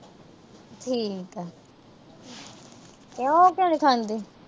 ਠੀਕ ਏ। ਤੇ ਉਹ ਕਿਉਂ ਨੀ ਖਾਂਦੀ।